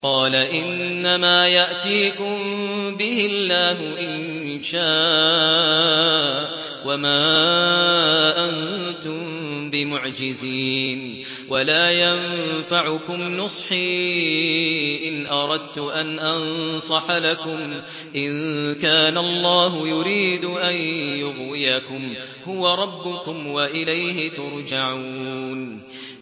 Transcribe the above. قَالَ إِنَّمَا يَأْتِيكُم بِهِ اللَّهُ إِن شَاءَ وَمَا أَنتُم بِمُعْجِزِينَ